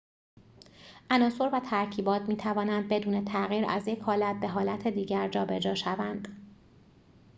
عناصر و ترکیبات می‌توانند بدون تغییر از یک حالت به حالت دیگر جابجا شوند